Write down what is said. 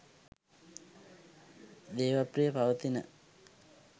දේවප්‍රිය පවතින